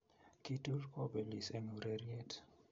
kitur kobelis eng ureriet